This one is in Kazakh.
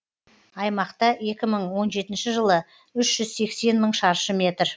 аймақта екі мың он жетінші жылы үш жүз сексен мың шаршы метр